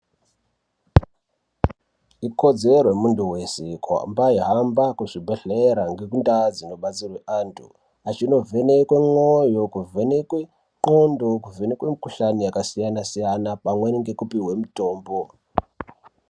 Ikodzero yemuntu veshe kuhamba eihamba kuzvibhedhlera ngekundaa dzinobatsirwe antu. Achinovhenekwe mwoyo, ndxondo, kuvhenekwe mikuhlani yakasiyana-siyana, pamweni ngekupihwe mutombo.